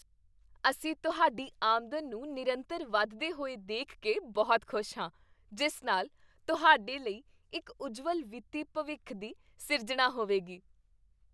ਅਸੀਂ ਤੁਹਾਡੀ ਆਮਦਨ ਨੂੰ ਨਿਰੰਤਰ ਵੱਧਦੇ ਹੋਏ ਦੇਖ ਕੇ ਬਹੁਤ ਖੁਸ਼ ਹਾਂ, ਜਿਸ ਨਾਲ ਤੁਹਾਡੇ ਲਈ ਇੱਕ ਉੱਜਵਲ ਵਿੱਤੀ ਭਵਿੱਖ ਦੀ ਸਿਰਜਣਾ ਹੋਵੇਗੀ!